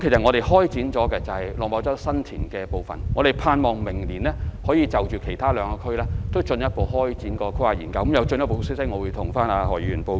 我們已開始規劃新田/落馬洲區，希望明年可以就其他兩區展開規劃研究，有進一步消息的時候，我會向何議員報告。